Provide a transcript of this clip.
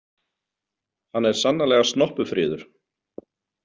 Hann er sannarlega snoppufríður.